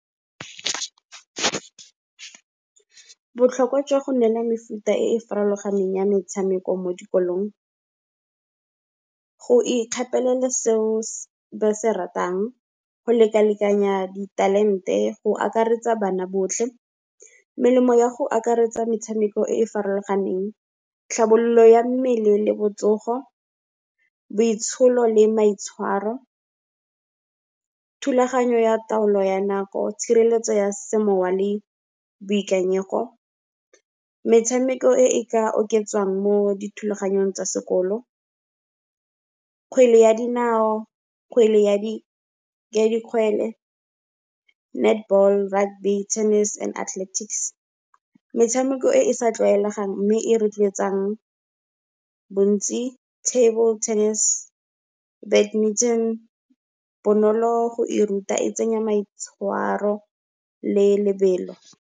Botlhokwa jwa go neela mefuta e e farologaneng ya metshameko mo dikolong, go ikgapelela seo ba se ratang, go lekalekanya di talent-e, go akaretsa bana botlhe. Melemo ya go akaretsa metshameko e e farologaneng, tlhabololo ya mmele le botsogo, boitsholo le maitshwaro, thulaganyo ya taolo ya nako, tshireletso ya semoya le boikanyego. Metshameko e ka oketsang mo dithulaganyong tsa sekolo, kgwele ya dinao, kgwele ya di kgwele, netball, rugby, tennis and athletics. Metshameko e e sa tlwaelegang mme e rotloetsang bontsi, table tennis, badminton, bonolo go e ruta e tsenya maitshwaro le lebelo.